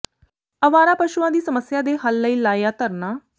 ਅਵਾਰਾ ਪਸ਼ੂਆਂ ਦੀ ਸਮੱਸਿਆ ਦੇ ਹੱਲ ਲਈ ਲਾਇਆ ਧਰਨਾ